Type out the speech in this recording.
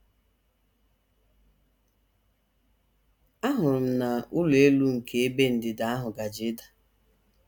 Ahụrụ m na ụlọ elu nke ebe ndịda ahụ gaje ịda.